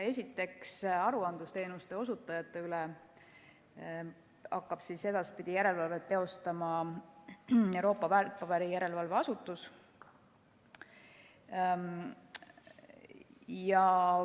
Esiteks, aruandlusteenuste osutajate üle hakkab edaspidi järelevalvet teostama Euroopa Väärtpaberiturujärelevalve Asutus.